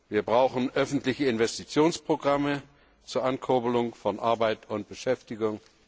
Wir brauchen öffentliche Investitionsprogramme zur Ankurbelung von Arbeit und Beschäftigung.